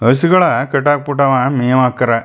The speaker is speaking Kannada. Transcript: ಹಸ್ ಗಳ್ ಕಟ್ಟ್ ಹಾಕ್ ಬಿಟ್ಟಾವ್ ಮೇವ್ ಹಾಕ್ಯಾರ.